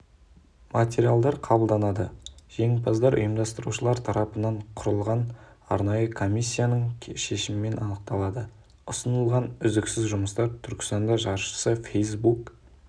материалдар қабылданады жеңімпаздар ұйымдастырушылар тарапынан құрылған арнайы комиссияның шешімімен анықталады ұсынылған үздіксіз жұмыстар түркістан жаршысы фейсбук